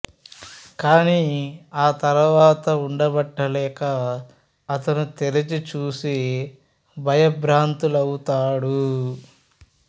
కానీ ఆ తర్వాత వుండబట్టలేక అతను తెరిచి చూసి భయంభ్రాంతులవుతాడు